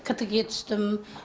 ктг ге түстім